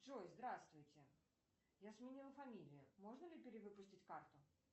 джой здравствуйте я сменила фамилию можно ли перевыпустить карту